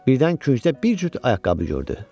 Birdən küncdə bir cüt ayaqqabı gördü.